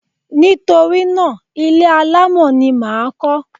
Nítorí náà, ilé alámọ̀ ni mà á kọ́.